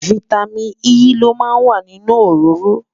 fìtámín E ló má ń wà nínú òróró